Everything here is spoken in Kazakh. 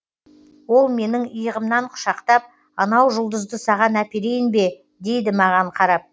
ол менің иығымнан құшақтап анау жұлдызды саған әперейін бе дейді маған қарап